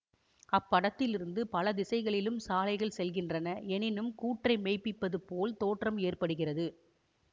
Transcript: அப்படத்திலிருந்து பல திசைகளிலும் சாலைகள் செல்கின்றன என்னும் கூற்றை மெய்ப்பிப்பது போல் தோற்றம் ஏற்படுகிறது